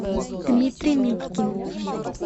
дмитрий митькин